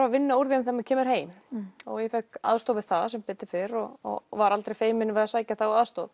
að vinna úr þeim þegar maður kemur heim og ég fékk aðstoð við það sem betur fór og var aldrei feimin við að sækja þá aðstoð